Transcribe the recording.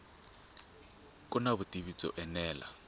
ku na vutivi byo enela